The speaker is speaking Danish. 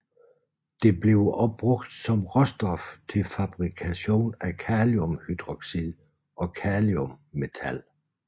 Det bliver også brugt som råstof til fabrikation af kaliumhydroxid og kaliummetal